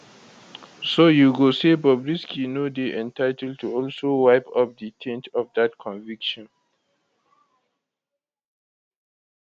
so you go say bobrisky no dey entitled to also wipe up di taint of dat conviction